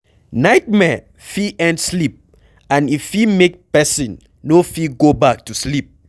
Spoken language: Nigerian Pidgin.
Nightmare fit end sleep and e fit make person no fit go back to sleep